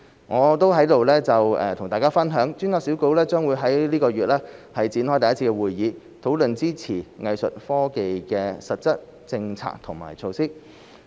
我在此與大家分享，專責小組將於這個月展開第一次會議，討論支持藝術科技的實質政策和措施。